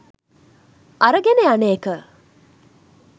අරගෙන යන එක.